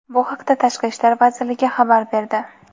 Bu haqda Tashqi ishlar vazirligi xabar berdi.